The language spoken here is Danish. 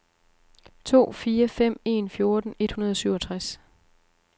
to fire fem en fjorten et hundrede og syvogtres